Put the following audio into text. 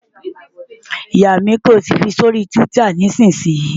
Yà mí, kí o sì fi sí orí Twitter nísinsìnyí!